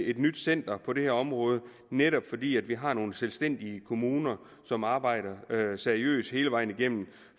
et nyt center på det her område netop fordi vi har nogle selvstændige kommuner som arbejder seriøst hele vejen igennem